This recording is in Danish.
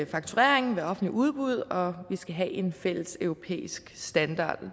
fakturering ved offentlige udbud og at vi skal have en fælles europæisk standard